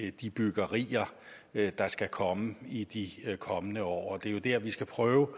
i de byggerier der skal komme i de kommende år det er jo der vi skal prøve